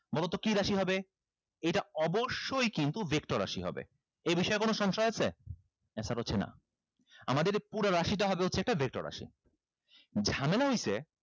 বলোতো কি রাশি হবে এটা অবশ্যই কিন্তু vector রাশি হবে এই বিষয়ে কোনো সংশয় আছে answer হচ্ছে না আমাদের এ পুরা রাশিটা হবে হচ্ছে একটা vector রাশি ঝামেলা হইছে